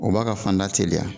O b'a ka fanda teliya.